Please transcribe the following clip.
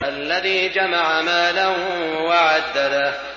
الَّذِي جَمَعَ مَالًا وَعَدَّدَهُ